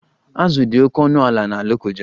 Azụ dị oke ọnụ ala na Lokoja